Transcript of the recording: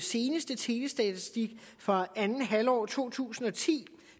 seneste telestatistik fra andet halvår af to tusind og ti